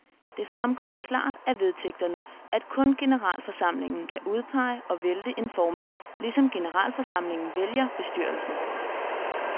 Det fremgår klart af vedtægterne, at kun generalforsamlingen kan udpege og vælte en formand, ligesom generalforsamlingen vælger bestyrelsen.